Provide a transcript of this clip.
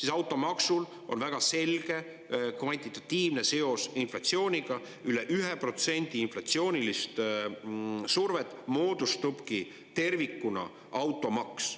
Aga automaksul on inflatsiooniga väga selge kvantitatiivne seos, üle 1% inflatsioonilisest survest moodustabki tervikuna automaks.